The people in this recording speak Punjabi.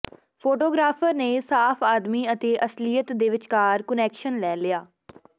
ਫ਼ੋਟੋਗ੍ਰਾਫ਼ਰ ਨੇ ਸਾਫ਼ ਆਦਮੀ ਅਤੇ ਅਸਲੀਅਤ ਦੇ ਵਿਚਕਾਰ ਕੁਨੈਕਸ਼ਨ ਲੈ ਲਿਆ